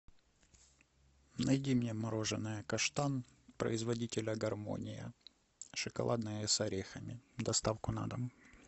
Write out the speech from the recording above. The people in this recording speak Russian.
найди мне мороженое каштан производителя гармония шоколадное с орехами доставку на дом